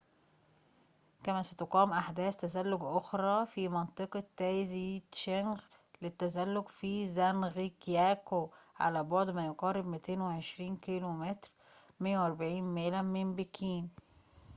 كما ستقام أحداث تزلج أخرى في منطقة تايزيتشنغ للتزلج في زانغجياكو"، على بعد ما يقارب 220 كيلومتراً 140 ميلا من بكين